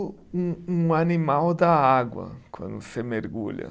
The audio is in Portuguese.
Um um animal da água quando você mergulha.